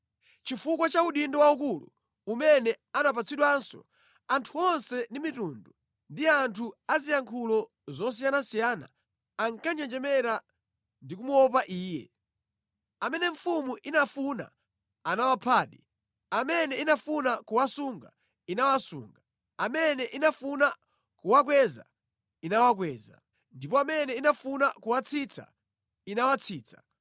Chifukwa cha udindo waukulu umene anapatsidwanso, anthu onse ndi mitundu ndi anthu aziyankhulo zosiyanasiyana ankanjenjemera ndikumuopa iye. Amene mfumu inafuna anawaphadi; amene inafuna kuwasunga, inawasunga; amene inafuna kuwakweza, inawakweza; ndipo amene inafuna kuwatsitsa, inawatsitsa.